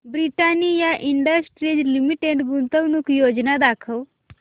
Britannia industries limited गुंतवणूक योजना दाखव